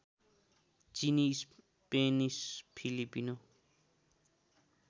चिनी Spanish Filipino